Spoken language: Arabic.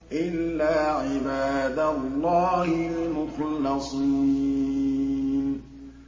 إِلَّا عِبَادَ اللَّهِ الْمُخْلَصِينَ